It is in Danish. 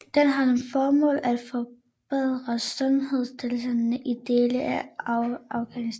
Den har som formål at forbedre sundhedstilstanden i dele af Afghanistan